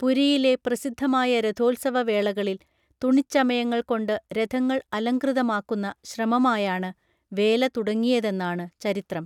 പുരിയിലെ പ്രസിദ്ധമായ രഥോത്സവ വേളകളിൽ തുണിച്ചമയങ്ങൾ കൊണ്ട് രഥങ്ങൾ അലംകൃതമാക്കുന്ന ശ്രമമായാണ് വേല തുടങ്ങിയതെന്നാണ് ചരിത്രം